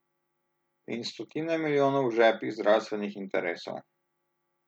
In stotine milijonov v žepih zdravstvenih interesov.